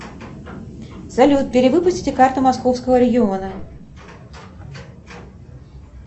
салют перевыпустите карту московского региона